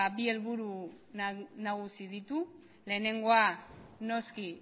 bi helburu nagusi ditu lehenengoa noski